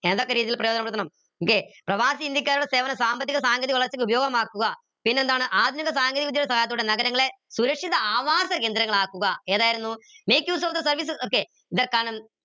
പ്രയോജനപ്പെടുത്തണം ല്ലെ പ്രവാസി ഇന്ത്യക്കാരുടെ സേവനം സാമ്പത്തിക സാങ്കേതിക വളർച്ചക്ക് ഉപയോഗമാക്കുക പിന്നെന്താണ് ആധുനിക സാങ്കേതിക സഹായത്തോടെ നഗരങ്ങളെ സുരക്ഷിത ആവാസ കേന്ദ്രങ്ങളാക്കുക ഏതായിരുന്നു make use of the services okay ഇതൊക്കാണ്